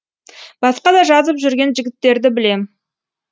басқа да жазып жүрген жігіттерді білем